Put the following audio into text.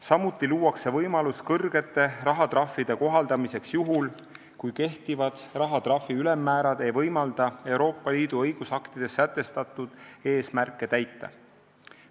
Samuti luuakse võimalus kõrgete rahatrahvide kohaldamiseks juhul, kui kehtivad rahatrahvi ülemmäärad ei võimalda Euroopa Liidu õigusaktides sätestatud eesmärke täita.